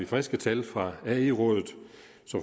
friske tal fra